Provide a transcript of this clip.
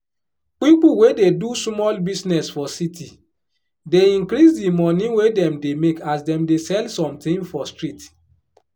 pipu wey dey do sumol business for city dey increase di money wey dem dey make as dem dey sell somthing for street